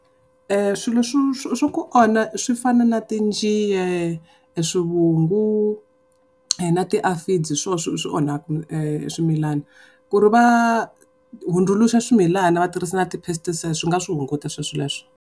Swilo swa ku onha swi fana na tinjiya, swivungu na tiafidzi hi swoho swi onhaka swimilana. Ku ri va hundzuluxa swimilana va tirhisa na ti-pesticides swi nga swi hunguta sweswo leswo.